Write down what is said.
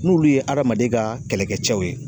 N'olu ye hadamaden ka kɛlɛkɛ cɛw ye.